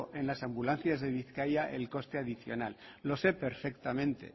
en las ambulancias de bizkaia el coste adicional lo sé perfectamente